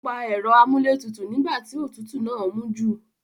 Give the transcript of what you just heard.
Ó pa ẹ̀rọ amúlé tutù nígbà tí òtútù náà mú jù